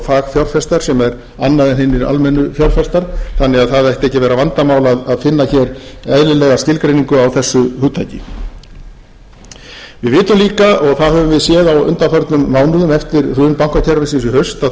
fagfjárfestar sem er annað en hinir almennu fjárfestar þannig að það ætti ekki að vera vandamál að finna hér eðlilega skilgreiningu á þessu hugtaki við vitum líka og það höfum við séð á undanförnum mánuðum eftir hrun bankakerfisins í haust að